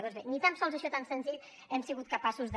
doncs bé ni tan sols això tan senzill hem sigut capaços de